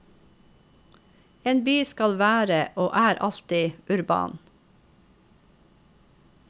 En by skal være, og er alltid, urban.